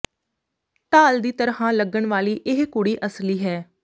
ਡਾਲ ਦੀ ਤਰ੍ਹਾਂ ਲੱਗਣ ਵਾਲੀ ਇਹ ਕੁੜੀ ਅਸਲੀ ਹੈ